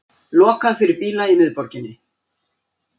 Lokað fyrir bíla í miðborginni